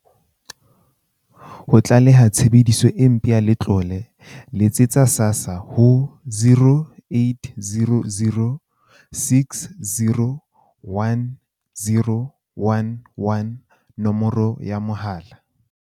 Ho tlaleha tshebediso e mpe ya letlole, letsetsa SASSA ho 0800 60 10 11, nomoro ya mahala.